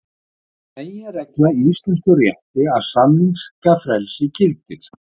Það er meginregla í íslenskum rétti að samningafrelsi gildir.